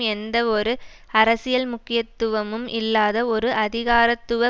எந்தவொரு அரசியல் முக்கியத்துவமும் இல்லாத ஒரு அதிகாரத்துவ